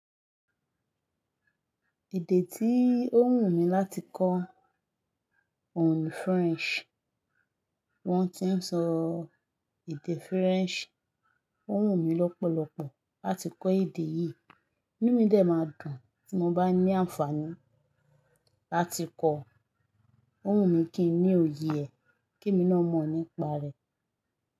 Èdè tí ó wù mí láti kọ́ òun ni French. Wọ́n ti ń sọ èdè French. Ó wù mí lọ́pọ̀lọpọ̀ láti kọ́ èdè yìí. Inú mi dẹ máa dùn tí mo bá ní àǹfààní láti kọ́ ò wun mi kí n ní òye ẹ kí emi náà mọ̀ nípa rẹ̀.